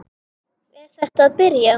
Er þetta að byrja?